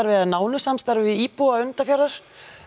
eða nánu samstarfi við íbúa Önundarfjarðar